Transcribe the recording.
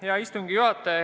Hea istungi juhataja!